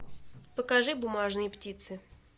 покажи бумажные птицы